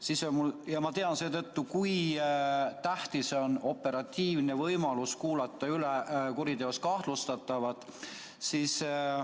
Seetõttu ma tean, kui tähtis on operatiivne võimalus kuulata üle kuriteos kahtlustatavad.